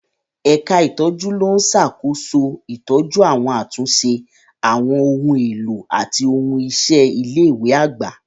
Ẹ̀ka ìtọ́jú ló ń ṣàkóso ìtọ́jú àti àtúnṣe àwọn ohun èlò àti ohun iṣẹ́ ilé ìwé àgbà.